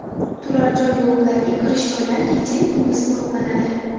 Turar joy bloklariga kirish joylari kecha-yu kunduz qo‘riqlanadi.